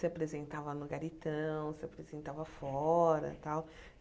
se apresentava no Garitão, se apresentava fora tal.